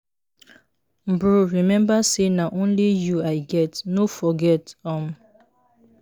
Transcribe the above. bro remember say na only you i get. no forget. um